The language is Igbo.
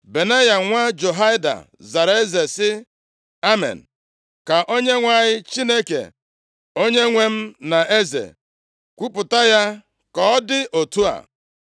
Benaya nwa Jehoiada zara eze sị, “Amen, ka Onyenwe anyị Chineke onyenwe m na eze, kwupụta ya ka ọ dị otu a.